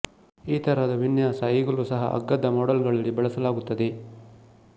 ಈತರಹದ ವಿನ್ಯಾಸ ಈಗಲೂ ಸಹ ಅಗ್ಗದ ಮಾಡೆಲ್ ಗಳಲ್ಲಿ ಬಳಸಲಾಗುತ್ತದೆ